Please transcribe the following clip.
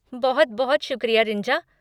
बहुत बहुत शुक्रिया रिंजा।